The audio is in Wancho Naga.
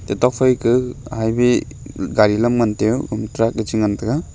tokphai ke highway gari lam ngan teu gama truck a chi ngan tega.